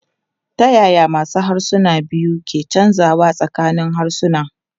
Ta yaya masu harsuna biyu ke canzawa tsakanin harsuna?